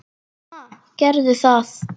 Ha, gerðu það.